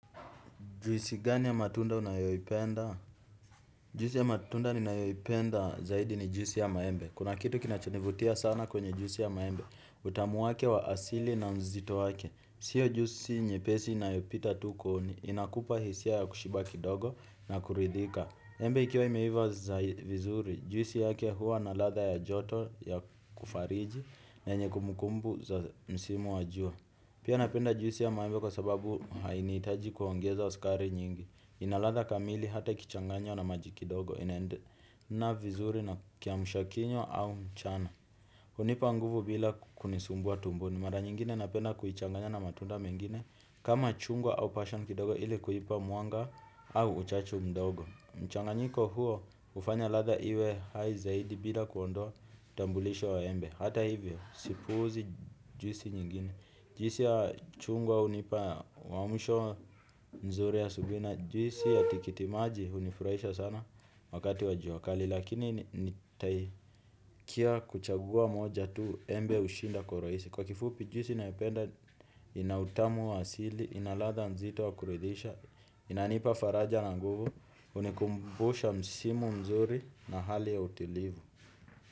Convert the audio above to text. Juisi gani ya matunda unayoyipenda? Juisi ya matunda ninayoyipenda zaidi ni juisi ya maembe. Kuna kitu kinachonivutia sana kwenye juisi ya maembe. Utamu wake wa asili na mzito wake. Sio jusi nyepesi inayopita tu kooni inakupa hisia ya kushiba kidogo na kuridhika. Embe ikiwa imeiva za vizuri. Juisi yake huwa na ladha ya joto ya kufariji na yenye kumbukumbu za msimu wa jua. Pia napenda juisi ya maembe kwa sababu hainihitaji kuongeza sukari nyingi. Ina ladha kamili hata ikichanganywa na maji kidogo inaendana vizuri na kiamushakinywa au mchana. Hunipa nguvu bila kunisumbua tumboni. Mara nyingine napenda kuichanganya na matunda mengine kama chungwa au passion kidogo ili kuhipa mwanga au uchachu mdogo. Mchanganyiko huo ufanya ladha iwe hai zaidi bila kuondoa utambulisho wa embe. Hata hivyo, sipuuzi juisi nyingine. Juisi ya chungwa hunipa mwamusho nzuri asubui na juisi ya tikitimaji unifurahisha sana wakati wa jua kali. Lakini nitaikia kuchagua moja tu embe ushinda kwa uraisi. Kwa kifupi juisi naependa, ina utamu wa asili, ina ladha nzito wa kuridhisha, inanipa faraja na nguvu, unikumbusha msimu mzuri na hali ya utilivu.